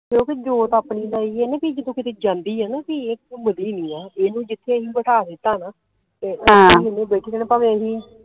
ਕਿਉਂਕਿ ਜੋਤ ਆਪਣੀ ਦਾ ਇਹ ਆ ਜਦੋ ਕਿਤੇ ਜਾਂਦੀ ਆ ਨਾ ਪੀ ਇਹ ਘੁੰਮਦੀ ਨਹੀਂ ਆ ਇਹਨੂੰ ਜਿਥੇ ਬਿਠਾ ਦਿੱਤਾ ਨਾ ਤੇ ਓਥੇ ਈ ਹਨ ਬੈਠੀ ਰਹਿਣਾ ਭਾਵੇ ਅਸੀ